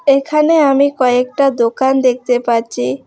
এখানে আমি কয়েকটা দোকান দেখতে পাচ্ছি।